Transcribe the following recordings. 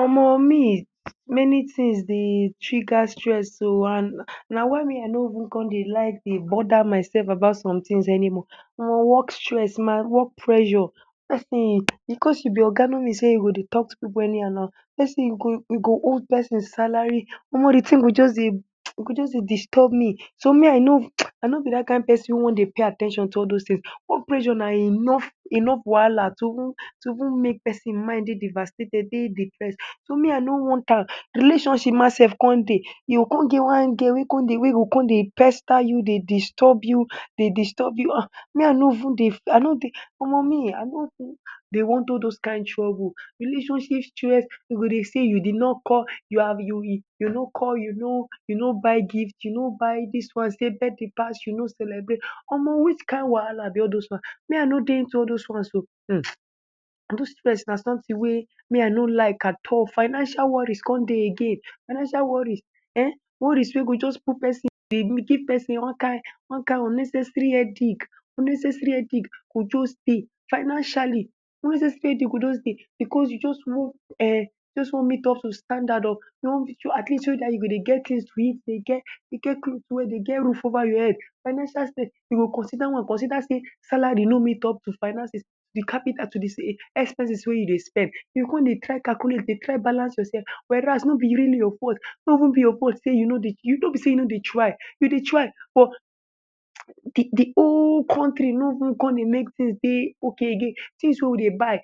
Omo me many things dey trigger stress oh and na why me i no even like to come dey bother myself about somethings anymore omo work stress my work pressure person because you be oga no mean sey you go dey talk to pipu anyhow na person go you go owe person salary omo the thing go just dey disturb me so me I know i no be that kin person go dey pay at ten tion to all those things work pressure na enough enough wahala to even to even make person mind dey devastated dey depressed. So me i no want amm relationship ma sef come dey you go come get one girl wey come de wey de come dey pester you dey disturb you dey disturb you ah me I no even dey i no dey omo me i no dey want all those kin troubles. Relationship stress den go dey say you did not call you are you you no call you no you no buy gift you no buy this one sey birthday pass you no celebrate, omo which kin wahala be all this one me i no dey into all those ones oh this stress na something wey me i no like at all. Financial worries come dey again, financial worry um worries wey go just put person dey give person one kin one kin unnecessary headache unnecessary headache go just dey financially unnecessary headache go just dey because you just one um just wan meet up to standard oh at least so that you go dey get things to eat dey get clothes well dey get roof over your head financial stress you go consider one dey consider sey salary no meet up to finances the capital to the expenses wey you dey spend you go come dey try calculate dey try balance yourself were as no be really your fault no be even your fault no be sey you no dey no be sey you no dey try you dey try but the whole country no even come dey make things ok again things wey we dey buy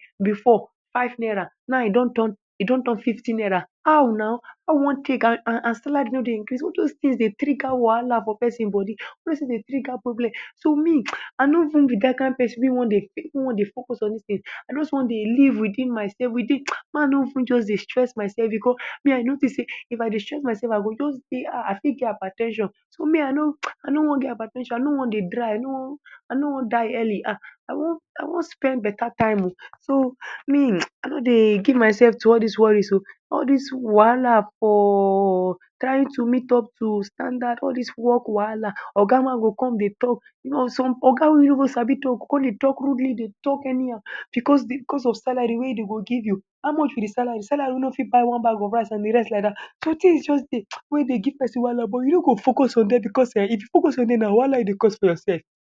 five naira before now e don e don turn fifty naira how na How we wan take and salary no dey increase all those things dey trigger wahala for person body all those things dey trigger problem. So me i no even be that kin person wey wan dey wey wan dey focus on these things i just wan dey live within myself within make i no even dey stress myself because i notice sey if i dey stress myself i go just dey um i fit get hyper ten sion so me i no i no wan get hyper ten sion i no wan dey dry i no wan die early ha i wan spend better time so me i no dey give myself to all these worries oh. All these wahala for trying to meet up to standard all these work wahala oga ma go come dey talk some oga wey no sabi talk go come dey talk rudely dey talk anyhow because of salary wey den go give you how much be the salary, salary wey no fit buy one bag of rice and the rest like that So things just dey wey dey give person wahala but you no go focus on dem because if you focus on dem na wahala you dey cause for yourself.